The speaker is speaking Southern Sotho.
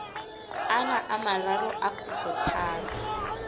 ana a mararo a kgutlotharo